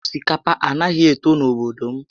Osikapa a naghị eto n'obodo m